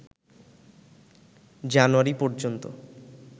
জানুয়ারি পর্যন্ত